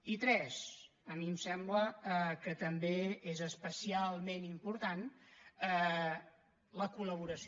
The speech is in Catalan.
i tres a mi em sembla que també és especialment important la col·laboració